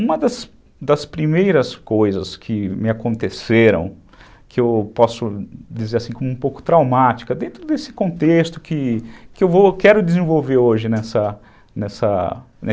Uma das das primeiras coisas que me aconteceram, que eu posso dizer assim como um pouco traumática, dentro desse contexto que eu vou, que eu quero desenvolver hoje nessa nessa